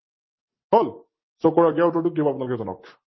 হল? So উত্তৰটো কি হব আপোনালোকে জনাওক?